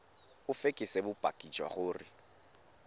o fekese bopaki jwa gore